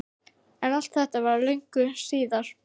En allt þetta var löngu síðar.